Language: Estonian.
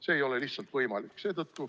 See ei ole lihtsalt võimalik.